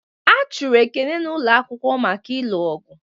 A chụrụ Ekene n'ụlọ akwụkwọ maka ịlụ ọgụ